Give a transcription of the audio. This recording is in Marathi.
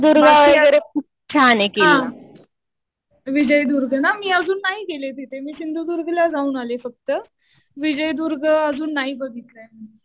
बाकी हा. विजयदुर्ग ना, मी अजुन नाही गेले तिथे. मी सिंधुदुर्गला जाऊन आले फक्त. विजयदुर्ग अजून नाही बघितला.